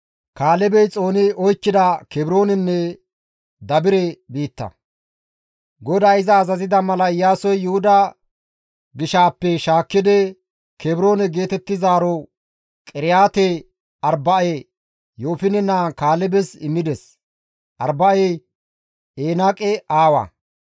GODAY iza azazida mala Iyaasoy Yuhuda gishaappe shaakkidi Kebroone geetettizaaro Qiriyaate-Arba7e Yoofine naa Kaalebes immides; Arba7ey Enaaqe Aawa.